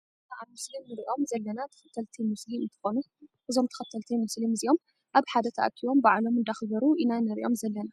እዚ ኣብ ምስሊ እንሪኦም ዘለና ተከተልቲ ሞስሊም እንትኮኑ እዞም ተከተልቲ ሞስሊም እዚኦ ኣብ ሓደ ተኣኪቦም በዓሎም እንዳክበዩ ኢና እንሪኦም ዘለና።